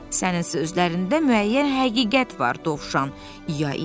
Sənin sözlərində müəyyən həqiqət var, Dovşan, İya-İya dedi.